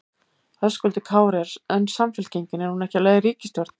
Höskuldur Kári: En Samfylkingin, hún er ekki á leið í ríkisstjórn?